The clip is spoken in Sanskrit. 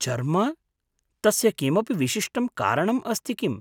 चर्म? तस्य किमपि विशिष्टं कारणम् अस्ति किम्?